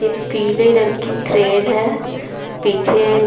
यह पीले रंग की क्रेन है पीछे--